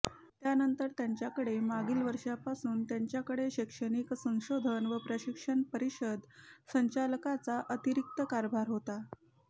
त्यानंतर त्यांच्याकडे मागील वर्षीपासून त्यांच्याकडे शैक्षणिक संशोधन व प्रशिक्षण परिषद संचालकाचा अतिरिक्त कार्यभार होता